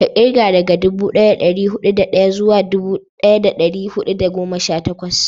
ka kirga daga dubu daya da dari hudu da daya zuwa dubu daya da dari hudu da goma sha takwas